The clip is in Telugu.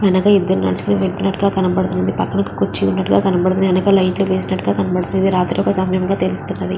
వెనక ఇద్దరు నడుచుకుని వెళ్తునట్టుగా కనపడతుంది. పక్కన ఒక కూర్చీ ఉన్నట్టుగా కనపడతుంది వెనక లైట్ వేసినట్టుగా కనపడతుంది రాత్రి సమయముగా తెలుస్తుంది.